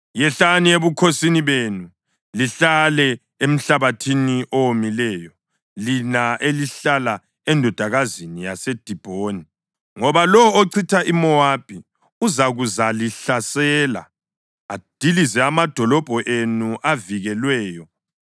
Yehlani ebukhosini benu lihlale emhlabathini owomileyo, lina elihlala eNdodakazini yaseDibhoni. Ngoba lowo ochitha iMowabi uzakuzalihlasela adilize amadolobho enu avikelweyo.